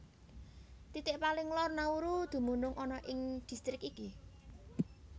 Titik paling lor Nauru dumunung ana ing distrik iki